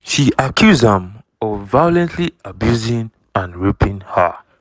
she accuse am of violently abusing and raping her.